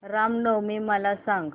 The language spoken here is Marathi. राम नवमी मला सांग